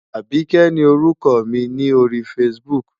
Àbíkẹ́ ni orúkọ mi ni ori Facebook.